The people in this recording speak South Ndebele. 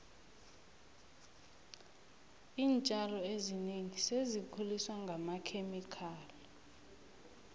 iintjalo ezinengi sezikhuliswa ngamakhemikhali